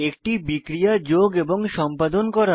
একটি বিক্রিয়া যোগ এবং সম্পাদন করা